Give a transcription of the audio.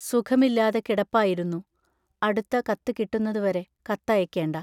സുഖമില്ലാതെ കിടപ്പായിരുന്നു; അടുത്ത കത്ത് കിട്ടുന്നതുവരെ കത്തയയ്ക്കേണ്ട.